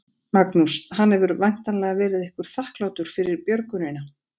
Magnús: Hann hefur væntanlega verið ykkur þakklátur fyrir björgunina?